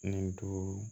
Ni duuru